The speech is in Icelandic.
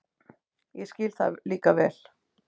Ég skil það líka vel.